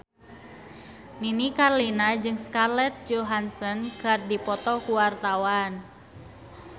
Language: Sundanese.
Nini Carlina jeung Scarlett Johansson keur dipoto ku wartawan